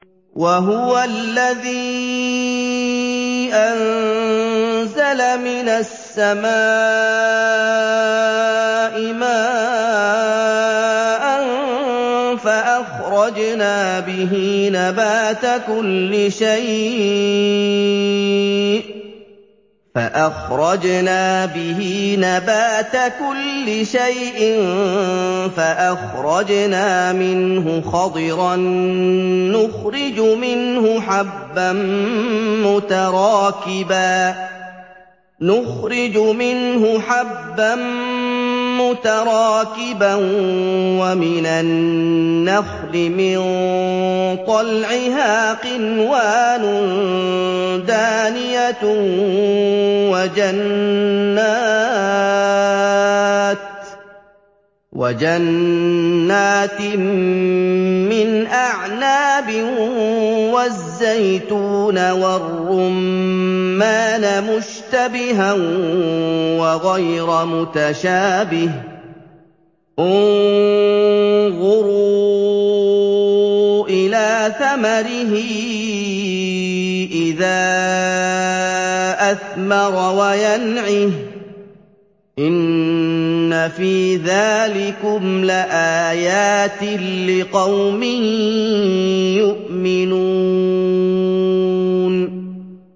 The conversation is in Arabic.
وَهُوَ الَّذِي أَنزَلَ مِنَ السَّمَاءِ مَاءً فَأَخْرَجْنَا بِهِ نَبَاتَ كُلِّ شَيْءٍ فَأَخْرَجْنَا مِنْهُ خَضِرًا نُّخْرِجُ مِنْهُ حَبًّا مُّتَرَاكِبًا وَمِنَ النَّخْلِ مِن طَلْعِهَا قِنْوَانٌ دَانِيَةٌ وَجَنَّاتٍ مِّنْ أَعْنَابٍ وَالزَّيْتُونَ وَالرُّمَّانَ مُشْتَبِهًا وَغَيْرَ مُتَشَابِهٍ ۗ انظُرُوا إِلَىٰ ثَمَرِهِ إِذَا أَثْمَرَ وَيَنْعِهِ ۚ إِنَّ فِي ذَٰلِكُمْ لَآيَاتٍ لِّقَوْمٍ يُؤْمِنُونَ